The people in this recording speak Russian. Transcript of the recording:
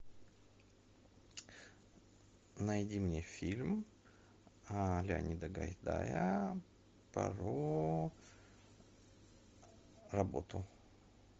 найди мне фильм леонида гайдая про работу